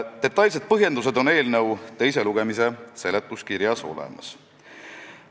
Detailsed põhjendused on eelnõu teise lugemise seletuskirjas olemas.